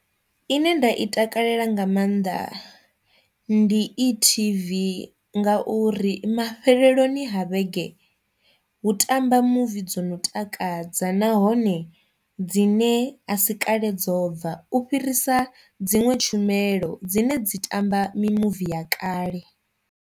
Ine nda i takalela nga maanḓa ndi e-TV nga uri mafheleloni ha vhege hu tamba muvi dzo no takadza nahone dzine a si kale dzo bva u fhirisa dziṅwe tshumelo dzine dzi tamba mimuvi ya kale.